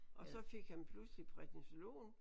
Og så fik han pludselig prednisolon